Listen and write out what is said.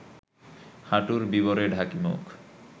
হাঁটুর বিবরে ঢাকি মুখ